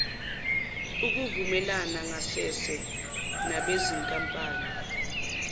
ukuvumelana ngasese nabezinkampani